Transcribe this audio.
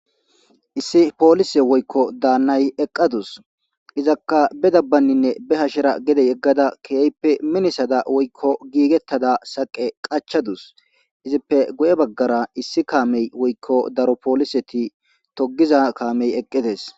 Issi polise woyikko dannayi eqadusi izakka be hashera woyikko be dabbara minissa giggetada saqe qachada eq ippe guye baggara issi kameyi woyiko polise togizara gede bawusi